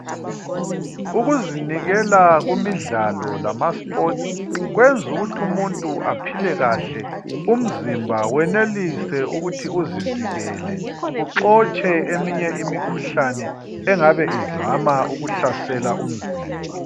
Ukuzinikela kumidlalo lamasports kwenza ukuthi umuntu aphile kahle umzimba wenelise ukuthi uzivikele uxotshe eminye imikhuhlane engabe izama ukuhlasela umzimba.